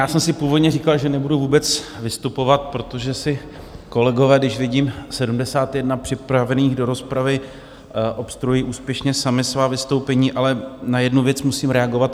Já jsem si původně říkal, že nebudu vůbec vystupovat, protože si kolegové, když vidím 71 připravených do rozpravy, obstruují úspěšně sami svá vystoupení, ale na jednu věc musím reagovat.